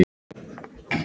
Hafði hún lent í slysi?